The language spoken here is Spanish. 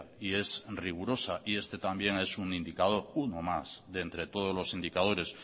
y es rigurosa y este también es un indicador uno más de entre todos los indicadores